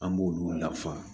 An b'olu lafa